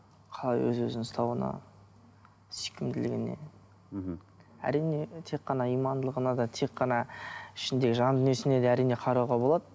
қалай өз өзін ұстауына сүйкімділігіне мхм әрине тек қана имандылығына да тек қана ішіндегі жан дүниесіне де әрине қарауға болады